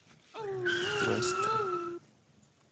квэста